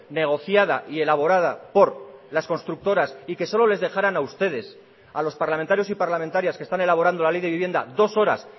negociada y elaborada por las constructoras y que solo les dejaran a ustedes a los parlamentarios y parlamentarias que están elaborando la ley de vivienda dos horas